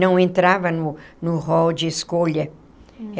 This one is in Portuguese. Não entrava no no hall de escolha.